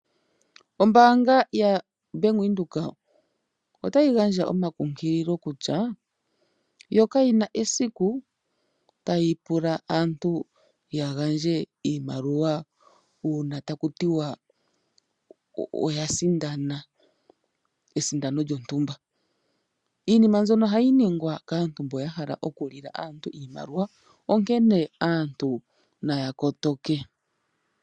Ombaanga yaBank Windhoek otayi gandja omakunkililo kutya yo kayina esiku tayi pula aantu ya gandje iimaliwa uuna takua tiwa oya sindana, esindano lyontumba. Iinima mbyono ohayi ningwa kaantu mbono ya hala oku lila aantu iimaliwa, onkene aantu naya kotoke.